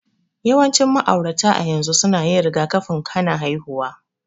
Yawancin ma'aurata a yanzu suna yin rigakafin hana haihuwa.